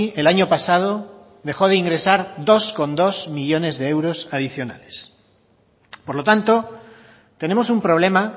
el año pasado dejó de ingresar dos coma dos millónes de euros adicionales por lo tanto tenemos un problema